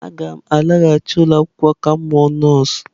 Aga m alaghachi ụlọ akwụkwọ ka m mụọ nọọsụ.